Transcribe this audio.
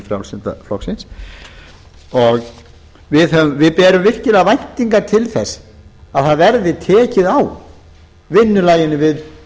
fyrir hönd frjálslynda flokksins við berum virkilega væntingar til þess að það verði tekið á vinnulaginu